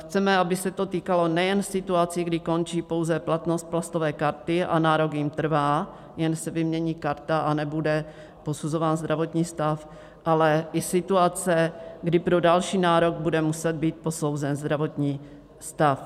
Chceme, aby se to týkalo nejen situací, kdy končí pouze platnost plastové karty a nárok jim trvá, jen se vymění karta a nebude posuzován zdravotní stav, ale i situace, kdy pro další nárok bude muset být posouzen zdravotní stav.